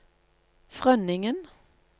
Frønningen